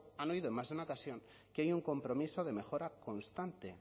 han oído en más de una ocasión que hay un compromiso de mejora constante